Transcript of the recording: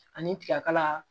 Ani tiga kala